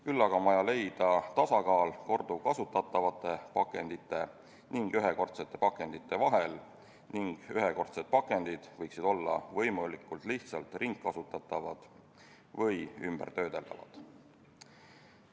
Küll aga on vaja leida tasakaal korduvkasutatavate pakendite ja ühekordsete pakendite vahel ning ühekordsed pakendid võiksid olla võimalikult lihtsalt ringkasutatavad või töödeldavad.